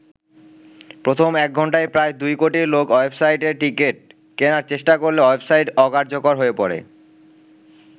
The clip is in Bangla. প্রথম এক ঘন্টায় প্রায় দুই কোটি লোক ওয়েবসাইটে টিকিট কেনার চেষ্টা করলে ওয়েবসাইট অকার্যকর হয়ে পড়ে।